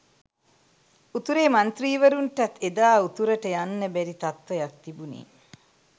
උතුරේ මන්ත්‍රීවරුන්ටත් එදා උතුරට යන්න බැරි තත්ත්වයක් තිබුණේ